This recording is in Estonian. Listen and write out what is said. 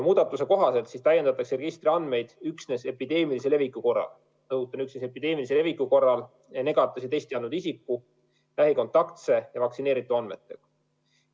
Muudatuse kohaselt täiendatakse registri andmeid üksnes epideemilise leviku korral – rõhutan: üksnes epideemilise leviku korral – negatiivse testi andnud isikute, lähikontaktsete ja vaktsineeritute andmetega.